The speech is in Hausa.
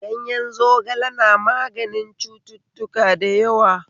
Ganyen zogale na maganin cututtuka da yawa